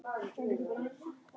Fjórir mánuðir eru knappur tími.